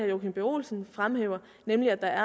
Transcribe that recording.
joachim b olsen fremhæver nemlig at der